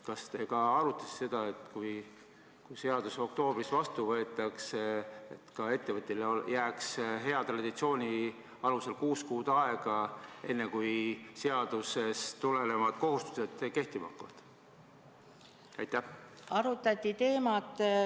Kas te arutasite seda, et kui seadus oktoobris vastu võetakse, siis jääks ettevõtjale hea traditsiooni alusel kuus kuud aega, enne kui seadusest tulenevad kohustused kehtima hakkavad?